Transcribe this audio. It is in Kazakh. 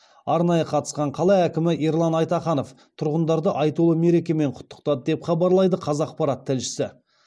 арнайы қатысқан қала әкімі ерлан айтаханов тұрғындарды айтулы мерекемен құттықтады деп хабарлайды қазақпарат тілшісі